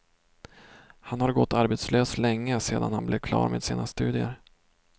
Han har gått arbetslös länge sedan han blev klar med sina studier.